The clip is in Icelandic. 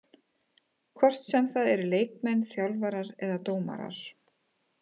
Hvort sem það eru leikmenn, þjálfarar eða dómarar.